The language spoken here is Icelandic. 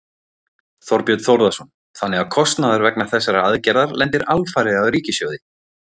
Þorbjörn Þórðarson: Þannig að kostnaður vegna þessarar aðgerðar lendir alfarið á ríkissjóði?